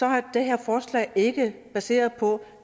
er det her forslag ikke baseret på